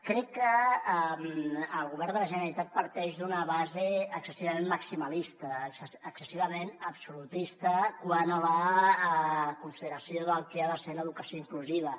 crec que el govern de la generalitat parteix d’una base excessivament maximalista excessivament absolutista quant a la consideració del que ha de ser l’educació inclusiva